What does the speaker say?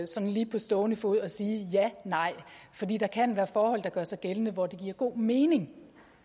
sådan lige på stående fod at sige ja nej fordi der kan være forhold der gør sig gældende hvor det giver god mening